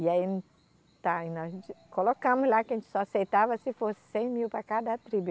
E aí tá e nós colocamos lá que a gente só aceitava se fosse cem mil para cada tribo.